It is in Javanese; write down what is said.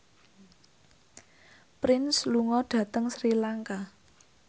Prince lunga dhateng Sri Lanka